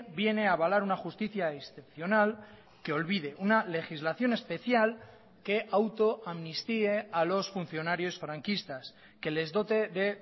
viene a avalar una justicia excepcional que olvide una legislación especial que autoamnistíe a los funcionarios franquistas que les dote de